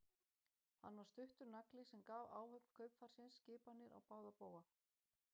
Hann var stuttur nagli sem gaf áhöfn kaupfarsins skipanir á báða bóga.